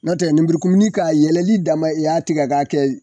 Nɔtɛ nemurukumuni k'a yɛlɛli dama i y'a tigɛ k'a kɛ